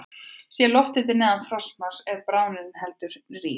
Sé lofthiti neðan frostmarks er bráðnunin heldur rýr.